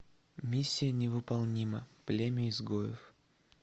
миссия невыполнима племя изгоев